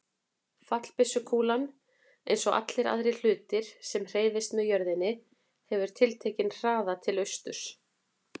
Fallbyssukúlan, eins og allir aðrir hlutir sem hreyfast með jörðinni, hefur tiltekinn hraða til austurs.